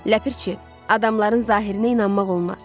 Ləpirçi, adamların zahirinə inanmaq olmaz.